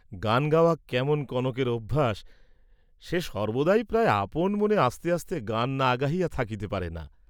গান গাওয়া কেমন কনকের অভ্যাস, সে সর্ব্বদাই প্রায় আপন মনে আস্তে আস্তে গান না গাহিয়া থাকিতে পারে না।